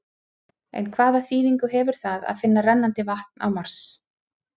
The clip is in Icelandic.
En hvaða þýðingu hefur það að finna rennandi vatn á Mars?